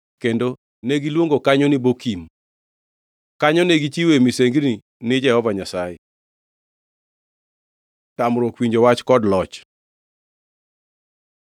kendo negiluongo kanyo ni Bokim. Kanyo ne gichiwoe misengini ne Jehova Nyasaye. Tamruok winjo wach kod loch